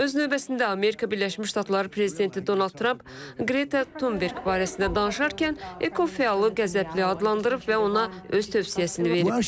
Öz növbəsində Amerika Birləşmiş Ştatları prezidenti Donald Tramp Qreta Tunberq barəsində danışarkən ekofəallı qəzəbli adlandırıb və ona öz tövsiyəsini verib.